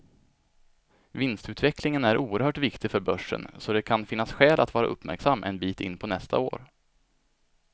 Vinstutvecklingen är oerhört viktig för börsen, så det kan finnas skäl att vara uppmärksam en bit in på nästa år.